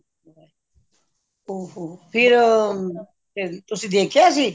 ਓਹੋ ਫਿਰ ਤੁਸੀ ਦੇਖਿਆ ਸੀ